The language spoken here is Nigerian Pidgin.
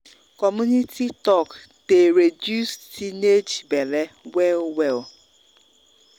community talk dey reduce teenage belle well well.